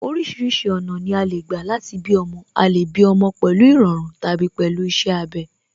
Orísìírísìí ọ̀nà ni a lè gbà láti bí ọmọ, a lè bí ọmọ pẹ̀lú ìrọ̀run tàbí pẹ̀lú iṣẹ́ abẹ